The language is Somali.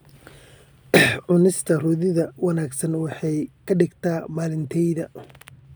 Cunista roodhida wanaagsan waxay ka dhigtaa maalintayda.